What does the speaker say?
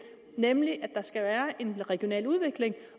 nemlig at der skal være en regional udvikling og